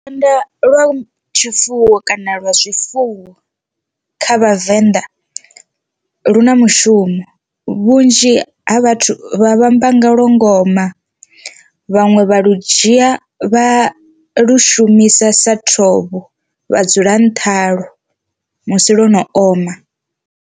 Lukanda lwa tshifuwo kana lwa zwifuwo kha vhavenḓa lu na mushumo vhunzhi ha vhathu vha vhamba nga lwa ngoma, vhaṅwe vha lu dzhia vha lu shumisa sa thovho vha dzula nṱha halo musi lwo no oma.